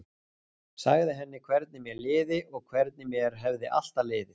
Sagði henni hvernig mér liði og hvernig mér hefði alltaf liðið.